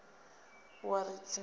wa ri singo u a